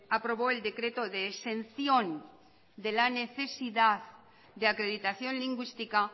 aprobó el decreto de exención de la necesidad de acreditación lingüística